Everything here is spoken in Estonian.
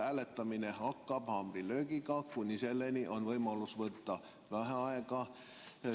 Hääletamine hakkab haamrilöögiga, kuni selleni on võimalus võtta vaheaega.